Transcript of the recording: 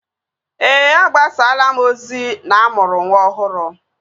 Ee, agbasalaa m ozi na-amụrụ nwa ọhụrụ